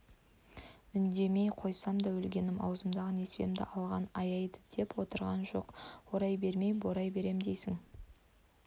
үндемей қойсам да өлгенім аузымдағы несібемді алған аяйды деп отырғам жоқ орай бермей борай берем дейсің